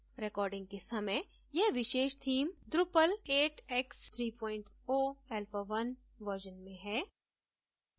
recording के समय यह विशेष theme drupal 8 x 30 alpha 1 version में है